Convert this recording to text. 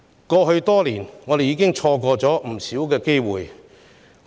過去多年，我們已錯過不少機會。